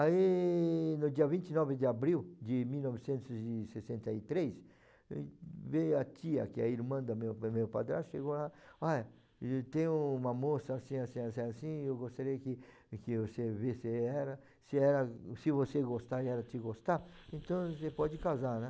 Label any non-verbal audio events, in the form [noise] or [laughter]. Aí, no dia vinte e nove de abril de mil novecentos e sessenta e três, veio a tia, que é a irmã do meu do meu padrasto, chegou lá, [unintelligible] tem uma moça assim, assim, assim, assim, assim, eu gostaria que que você viesse, se ela, se você gostar e ela te gostar, então você pode casar, né?